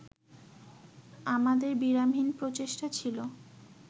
আমাদের বিরামহীন প্রচেষ্টা ছিল